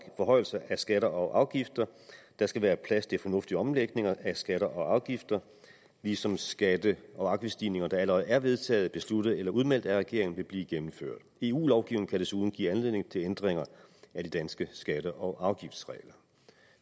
forhøjelser af skatter og afgifter der skal være plads til fornuftige omlægninger af skatter og afgifter ligesom skatte og afgiftsstigninger der allerede er vedtaget besluttet eller udmeldt af regeringen vil blive gennemført eu lovgivningen kan desuden give anledning til ændringer af de danske skatte og afgiftsregler